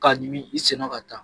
K'a ɲimi i sen nɔ ka taa